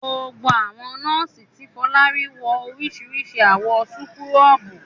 Gbogbo àwọn nọ́ọ́sì tí Fọlá rí wọ oríṣiríṣi àwọ̀ súkúrọ́bù.